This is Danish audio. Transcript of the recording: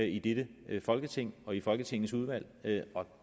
i dette folketing og i folketingets udvalg og